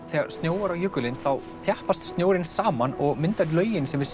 þegar snjóar á jökulinn þá þjappast snjórinn saman og myndar lögin sem við